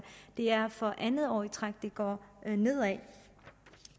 det er for andet år i træk det går nedad